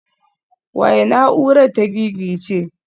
Waye na'urar ta gigice?